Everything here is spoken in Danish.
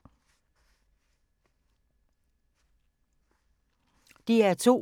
DR2